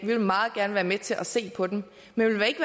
vi vil meget gerne være med til at se på dem men vi vil ikke